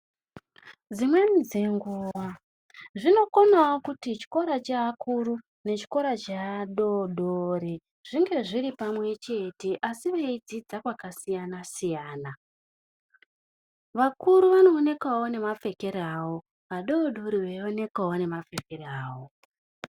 Dzimweni dzenguva zvinokonawo kuti chikora cheakuru nechikora cheadori dori zvinge zviri pamwe chete asi veidzidza kwakasiyana siyana. Vakuru vanooneka nemapfekero awo, vadori dori veinokawo nemapfekero awo.